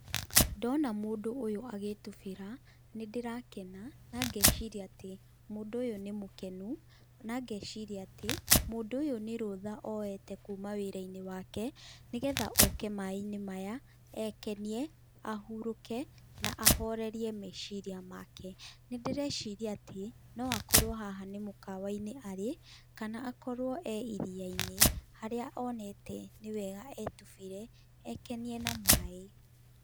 Ndona mũndũ ũyũ agĩtubĩra nĩ ndĩrakena na ngeciria atĩ mũndũ ũyũ nĩmũkenu, na ngeciria atĩ, mũndũ ũyũ nĩrũtha oyete kuma wĩra-inĩ wake, nĩgetha oke maĩ- inĩ maya ekenie, ahurũke, na ahorerie meciria make, nĩndĩreciria atĩ, noakorwo haha nĩmũkawa-inĩ arĩ, kana akorwo e iria-inĩ harĩa onete nĩwega etubĩre ekenie na maĩ.